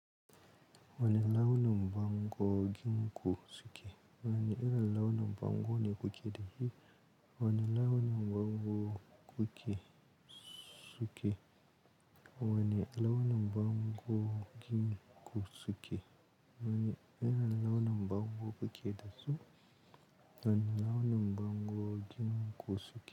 Wani launi bangogin ku suke. Wani irin launi bango ne ku ke dashi. Wani launi mbango ku ke suke. Wani irin launi bangogin ku suke. Wani irin launin bango ku ke dasu. Wani launi mbango gin ku suke.